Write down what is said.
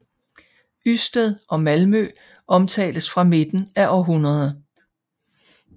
Ysted og Malmø omtales fra midten af århundredet